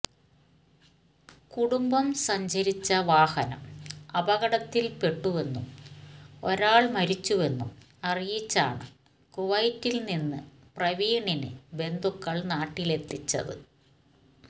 കുടുംബം സഞ്ചരിച്ച വാഹനം അപകടത്തിൽ പെട്ടുവെന്നും ഒരാൾ മരിച്ചുവെന്നും അറിയിച്ചാണ് കുവൈറ്റിൽ നിന്ന് പ്രവീണിനെ ബന്ധുക്കൾ നാട്ടിലെത്തിച്ചത്